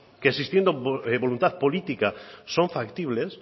que existiendo voluntad política son factibles